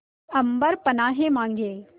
अम्बर पनाहे मांगे